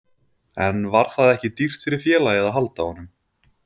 En var það ekki dýrt fyrir félagið að halda honum?